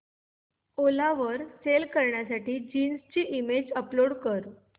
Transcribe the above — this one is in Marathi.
ओला वर सेल करण्यासाठी जीन्स ची इमेज अपलोड कर